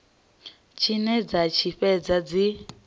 tshine dza tshi fhedza dzi